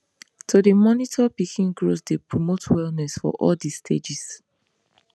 to dey monitor pikin growth dey promote wellness for all de stages